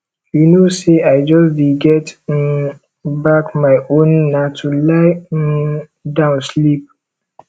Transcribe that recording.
you know say i just dey get um back my own na to lie um down sleep